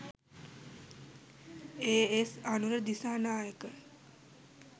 A.S. Anura Dissanayake